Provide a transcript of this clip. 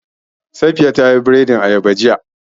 Safiya ta yi biredin ayaba jiya